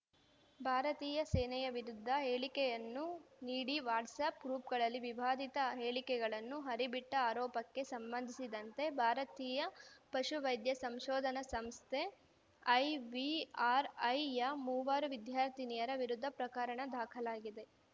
ಭಾರತೀಯ ಸೇನೆಯ ವಿರುದ್ಧ ಹೇಳಿಕೆಗಳನ್ನು ನೀಡಿ ವಾಟ್ಸಾಪ್‌ ಗ್ರೂಪ್‌ಗಳಲ್ಲಿ ವಿವಾದಿತ ಹೇಳಿಕೆಗಳನ್ನು ಹರಿಬಿಟ್ಟಆರೋಪಕ್ಕೆ ಸಂಬಂಧಿಸಿದಂತೆ ಭಾರತೀಯ ಪಶುವೈದ್ಯ ಸಂಶೋಧನಾ ಸಂಸ್ಥೆ ಐವಿಆರ್‌ಐಯ ಮೂವರು ವಿದ್ಯಾರ್ಥಿನಿಯರ ವಿರುದ್ಧ ಪ್ರಕರಣ ದಾಖಲಾಗಿದೆ